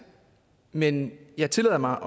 men jeg tillader mig